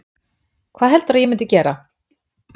Hvað heldurðu að ég myndi gera?